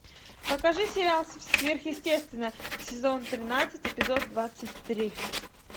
покажи сериал сверхъестественное сезон тринадцать эпизод двадцать три